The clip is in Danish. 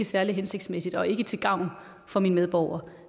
særlig hensigtsmæssig og ikke til gavn for mine medborgere